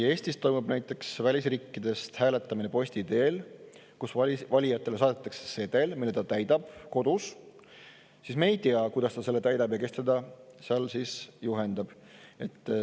Eestis toimub näiteks välisriikidest hääletamine posti teel: valijale saadetakse sedel, mille ta täidab kodus, ja ka siis me ei tea, kuidas ta täidab ja kes teda seal juhendab.